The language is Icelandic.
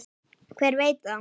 Hver veit það?